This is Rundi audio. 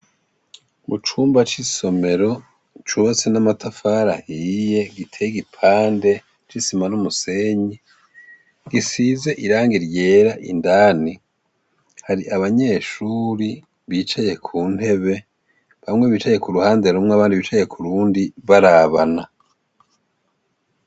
Mu cumba c'isomero cubatsi n'amatafarahiye giteye gipande c'isima n'umusenyi gisize iranga iryera indani hari abanyeshuri bicaye ku ntebe bamwe bicaye ku ruhande rumwe abandi bicaye ku rundi barabana.